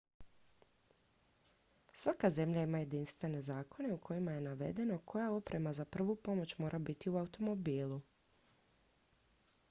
svaka zemlja ima jedinstvene zakone u kojima je navedeno koja oprema za prvu pomoć mora biti u automobilu